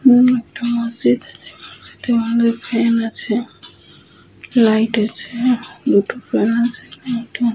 এখানে একটা মসজিদ। তার মধ্যে ফ্যান আছে লাইট আছে দুটো --